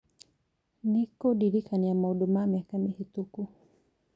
nĩ kũndirikania maũndũ ma mĩaka mĩhĩtũku